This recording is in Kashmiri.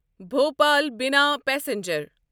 بھوپال بِنا پسنجر